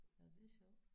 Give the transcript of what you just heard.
Nåh det er sjovt